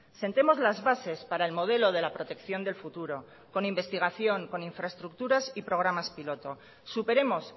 sentemos las bases para el modelo de la protección del futuro con investigación con infraestructuras y programas piloto superemos